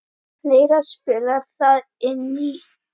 Fleira spilar þar inn í.